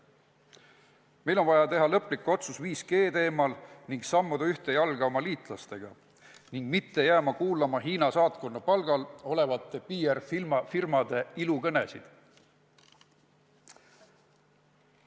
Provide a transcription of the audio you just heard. Meil on vaja teha lõplik otsus 5G teemal ning sammuda ühte jalga oma liitlastega, me ei tohi jääda kuulama Hiina saatkonna palgal olevate PR-firmade ilukõnesid.